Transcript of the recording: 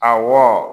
Awɔ